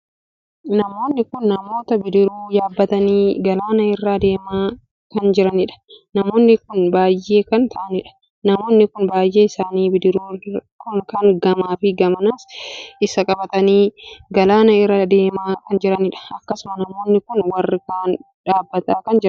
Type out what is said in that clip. Namoonni kun namootaa bidiruu yaabbatanii galana irraa adeemaa kan jiranidha. Namoonni kun baay'ee kan taa'anidha. Namoonni kun baay'een isaanii bidiruu kan gamaa fi gamanas isaa qabatanii galanaa irraa deemaa kan jiranidha. Akkasumas namoonni kun warri kaan dhaabbataa kan jiranidha.